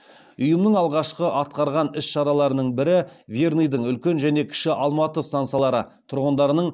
ұйымның алғашқы атқарған іс шараларының бірі верныйдың үлкен және кіші алматы стансалары тұрғындарының